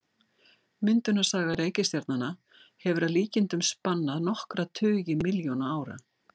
Myndunarsaga reikistjarnanna hefur að líkindum spannað nokkra tugi milljóna ára.